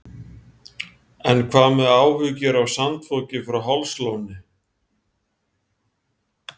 En hvað með áhyggjur af sandfoki frá Hálslóni?